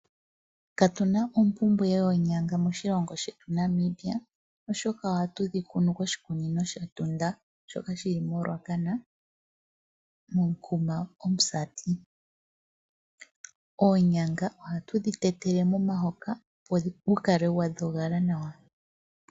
Katuna oompumbwe yoonyanga moshilongo shetu Namibia oshoka ohatu dhi kunu koshikunino shEtunda shoka shili moRuacana moshitopolwa shaMusati. Oonyanga ohatu dhi tetele momuhoka opo gu kale gwa dhoga nawa.